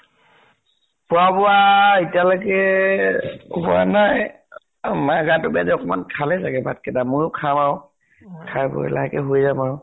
খোৱা বোৱা এতিয়ালৈকে হোৱা নাই। মানে গাতো বেয়া যে অকমান, খালে চাগে ভাত কেইটা। ময়ো খাম। খাই বৈ লাহেকৈ শুই যাম আৰু।